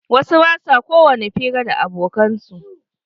Wasu ba sua kowani hira da abokan su.